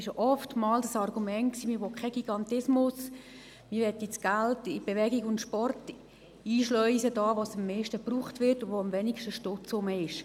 Oft lautete das Argument, man wolle keinen Gigantismus, man wolle das Geld in Bewegung und Sport einschleusen, wo es am meisten gebraucht wird und wo am wenigsten Stutz vorhanden ist.